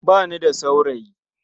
Ba ni da saurayi.